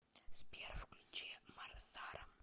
сбер включи марсарам